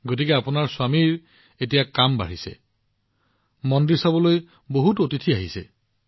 গতিকে আপোনাৰ স্বামীৰ কাম এতিয়া নিশ্চয় বাঢ়িছে কিয়নো মন্দিৰ চাবলৈ ইমান অতিথি তালৈ আহিছে